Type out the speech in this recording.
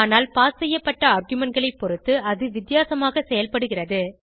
ஆனால் பாஸ் செய்யப்பட்ட argumentகளை பொருத்து அது வித்தியாசமாக செயல்படுகிறது